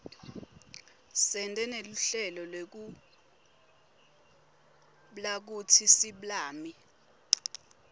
sente neluhlelo lekublakutsi siblami